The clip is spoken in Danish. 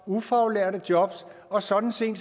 ufaglærte job og sådan set